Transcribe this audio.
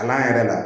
A n'an yɛrɛ la